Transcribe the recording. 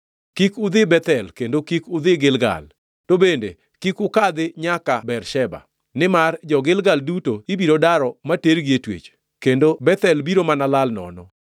kik udhi Bethel, kendo kik udhi Gilgal, to bende kik ukadhi nyaka Bersheba, nimar jo-Gilgal duto ibiro daro matergi e twech, kendo Bethel biro mana lal nono.”